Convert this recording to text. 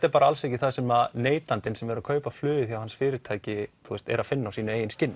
er bara alls ekki það sem neytandinn sem er að kaupa flug hjá þessu fyrirtæki er að finna á sínu skinni